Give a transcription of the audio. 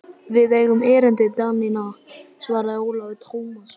Við eigum erindi við Danina, svaraði Ólafur Tómasson.